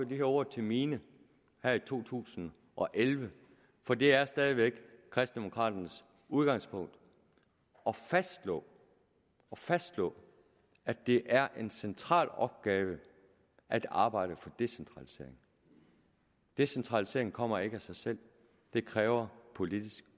her ord til mine her i to tusind og elleve for det er stadig væk kristendemokraternes udgangspunkt at fastslå fastslå at det er en central opgave at arbejde for decentralisering decentralisering kommer ikke af sig selv det kræver politisk